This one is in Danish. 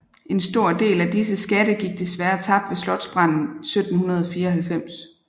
En stor del af disse skatte gik desværre tabt ved slotsbranden 1794